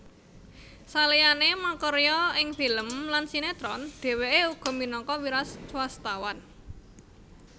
Saliyané makarya ing film lan sinétron dhèwèké uga minangka wiraswastawan